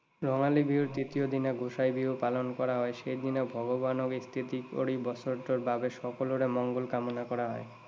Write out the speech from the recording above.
ৰঙালী বিহুৰ দ্বিতীয় দিনা গোসাই বিহু পালন কৰা হয়। সেইদিনা ভগৱানক স্তুতি কৰি বছৰটোৰ বাবে সকলোৰে মঙ্গল কামনা কৰা হয়।